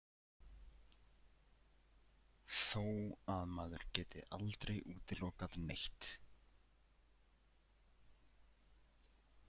Þó að maður geti aldrei útilokað neitt.